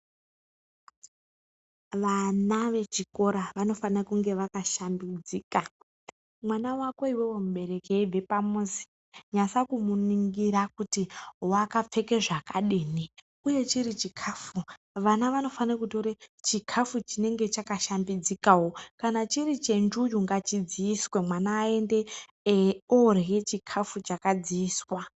Vana vechikora vanofana kunge vakashambidzika, mwana wako iwewe mubereki eibve pamuzi nyasa kumuningira kuti wakapfeke zvakadini ,uye chiri chikafu vana vanofanire kutore chikafu chinenge chakashambidzikawo kana chiri chenjuyu ngachidziiswewo mwana aende orye chikafu chakadziiswa.